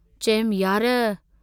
चयुमि, यार!